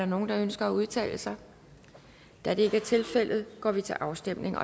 der nogen der ønsker at udtale sig da det ikke er tilfældet går vi til afstemning